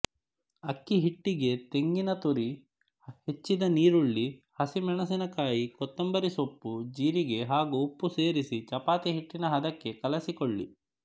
ಅಕ್ಕಿಹಿಟ್ಟಿಗೆ ತೆಂಗಿನತುರಿ ಹೆಚ್ಚಿದ ಈರುಳ್ಳಿ ಹಸಿಮೆಣಸಿನಕಾಯಿ ಕೊತ್ತಂಬರಿ ಸೊಪ್ಪು ಜೀರಿಗೆ ಹಾಗೂ ಉಪ್ಪು ಸೇರಿಸಿ ಚಪಾತಿ ಹಿಟ್ಟಿನ ಹದಕ್ಕೆ ಕಲಸಿಕೊಳ್ಳಿ